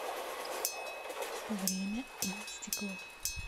время и стекло